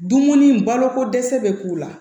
Dumuni baloko dɛsɛ bɛ k'u la